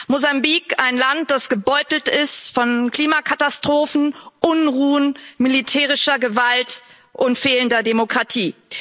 Mosambik, ein Land, das gebeutelt ist von Klimakatastrophen, Unruhen, militärischer Gewalt und fehlender Demokratie.